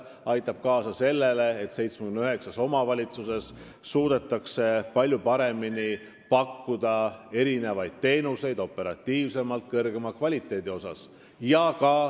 See aitab kaasa sellele, et 79 omavalitsuses suudetakse palju paremini teenuseid pakkuda: operatiivsemalt ja kvaliteetsemalt.